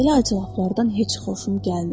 Belə acıqlardan heç xoşum gəlmir.